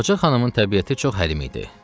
Ağca xanımın təbiəti çox həlim idi.